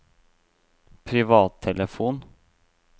privattelefon